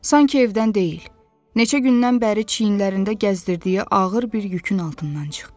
Sanki evdən deyil, neçə gündən bəri çiyinlərində gəzdirdiyi ağır bir yükün altından çıxdı.